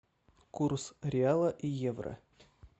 курс реала и евро